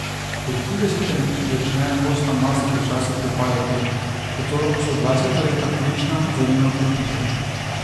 Po tridesetem začne kostna masa počasi propadati, zato so dvajseta leta ključna za njeno krepitev.